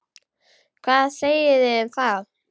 Hvað segiði um það?